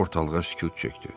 Ortalığa sükut çökdü.